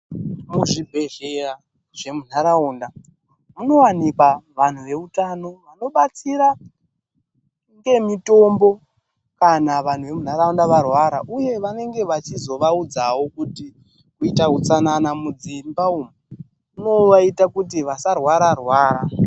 Muzvibhehlera zvemunharaunda munowanikwa vanhu veutano vobatsira nemitombo kana vanhu vemunharaunda varwara uye vanenge vachizovaudzawo kuti kuita utsanana mudzimba umo kunobatsira kuti vanhu vasarwara rwara